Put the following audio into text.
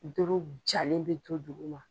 Dɔrɔ jalen bɛ to dugu ma.